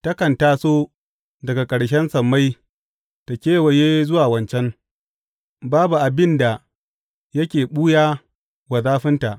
Takan taso daga ƙarshen sammai ta kewaye zuwa wancan; babu abin da yake ɓuya wa zafinta.